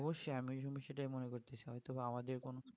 অবশ্যই আমিও কিন্তু সেটাই মনে করছি হয়তো বা আমাদের কোনো